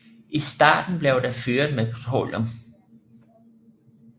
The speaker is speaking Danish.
I starten blev der fyret med petroleum